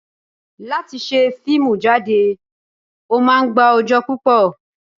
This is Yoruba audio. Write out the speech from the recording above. Láti ṣe fíìmù jáde, ó máa ń gba ọjọ́ púpò.